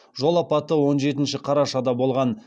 жол апаты он жетінші қарашада болған